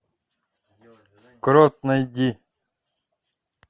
крот найди